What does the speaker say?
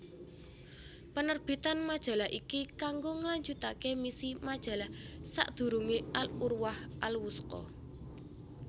Penerbitan majalah iki kanggo nglanjutake misi majalah sakdurunge Al Urwah Al Wusqa